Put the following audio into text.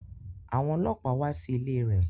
Àwọn ọlọ́pàá wá sí ilé rẹ̀